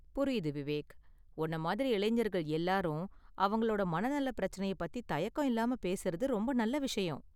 புரியுது விவேக், உன்ன மாதிரி, இளைஞர்கள் எல்லாரும் அவங்களோட மனநல பிரச்சனைய பத்தி தயக்கம் இல்லாம பேசுறது ரொம்ப நல்ல விஷயம்.